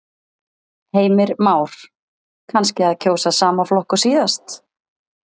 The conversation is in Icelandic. Heimir Már: Kannski að kjósa sama flokk og síðast?